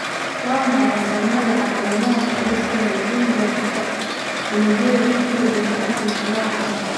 Waa maxay astamaha iyo calaamadaha fayraska leukemia-ga unugyada T-ga bini'aadamka, nooca labaad?